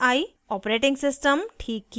* operating system ठीक किया